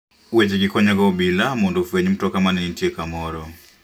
Wechegi konyoga obila mondo ofweny mtoka ma ne nitie kamoro.